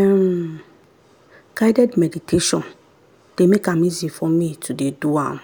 um guided meditation dey make am easy for me to dey do am